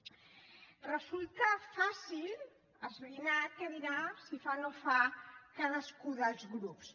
resulta fàcil esbrinar que dirà si fa no fa cadascun dels grups